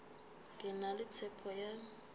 ke na le tshepo ya